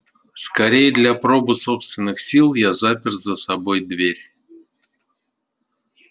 скорее для пробы собственных сил я запер за собой дверь